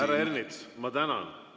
Härra Ernits, ma tänan!